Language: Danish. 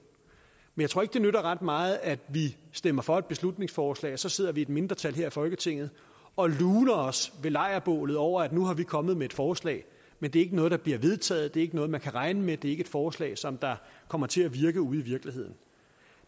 men jeg tror ikke det nytter ret meget at vi stemmer for et beslutningsforslag og så sidder vi i et mindretal her i folketinget og luner os ved lejrbålet over at nu er vi kommet med et forslag men det er ikke noget der bliver vedtaget det er ikke noget man kan regne med det er ikke et forslag som kommer til at virke ude i virkeligheden